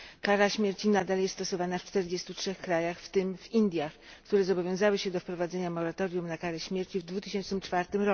Kara śmierci nadal jest stosowana w 43 krajach, w tym w Indiach, które zobowiązały się do wprowadzenia moratorium na karę śmierci w 2004